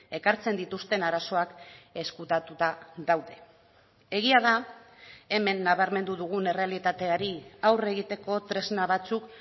ekartzen dituzten arazoak ezkutatuta daude egia da hemen nabarmendu dugun errealitateari aurre egiteko tresna batzuk